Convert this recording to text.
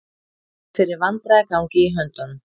Finn fyrir vandræðagangi í höndunum.